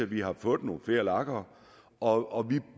vi har fået nogle flere lager og